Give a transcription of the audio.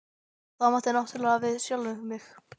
Og á þá náttúrlega við sjálfan mig.